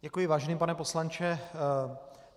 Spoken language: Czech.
Děkuji, vážený pane poslanče.